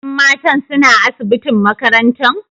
Yan matan suna asibitin makarantan?